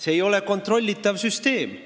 See ei ole kontrollitav süsteem.